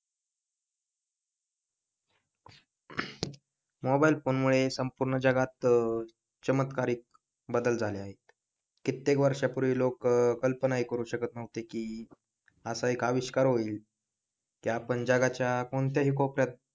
mobile phone मुळे संपूर्ण जगात चमत्कारिक बदल झाले आहेत कित्येक वर्षांपूर्वी लोक कल्पना हि करू शकत नव्हती की असा एक अविष्कार होईल की आपण जगाच्या कोणत्याही कोपऱ्यात,